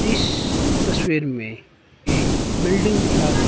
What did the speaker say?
इस तस्वीर में एक बिल्डिंग दिखा--